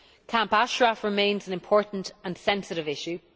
Camp Ashraf remains an important and sensitive issue.